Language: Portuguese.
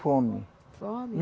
Fome. Fome?